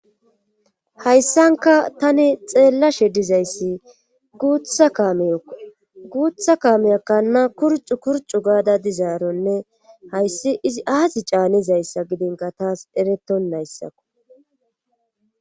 hayssanka tani xeella she dizayssi teyguutha kaameyakkanna kurcu kurcu gaada dizaaronne hayssi izi aati caanizayssa gidinka taas eretton nayssako